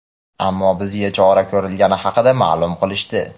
ammo bizga chora ko‘rilgani haqida ma’lum qilishdi.